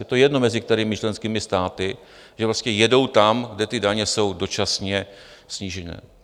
Je to jedno, mezi kterými členskými státy, že prostě jedou tam, kde ty daně jsou dočasně snížené.